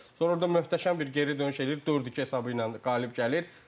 Sonra orda möhtəşəm bir geri dönüş eləyir, 4-2 hesabı ilə qalib gəlir.